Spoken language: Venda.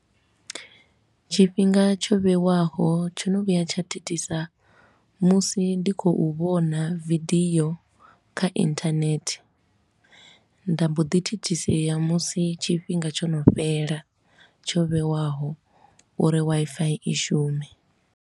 Tshifhinga tsho vhewaho tsho no vhuya tsha thithisa musi ndi khou vhona vidiyo kha internet, nda mbo ḓi thithisea musi tshifhinga tsho no fhela tsho vhewaho uri Wi-Fi i shume.